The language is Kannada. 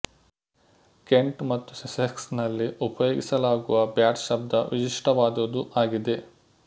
ಕೆಂಟ್ ಮತ್ತು ಸಸ್ಸೆಕ್ಸ್ ನಲ್ಲಿ ಉಪಯೋಗಿಸಲಾಗುವ ಬ್ಯಾಟ್ ಶಬ್ದ ವಿಶಿಷ್ಟವಾದುದು ಆಗಿದೆ